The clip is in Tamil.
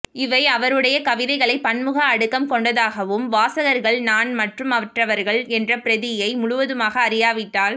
இவை அவருடையை கவிதைகளை பன்முக அடுக்கம் கொண்டதாகவும் வாசகர்கள் நான் மற்றும் மற்றவர்கள் என்ற பிரதியை முழுவதுமாக அறியாவிட்டால்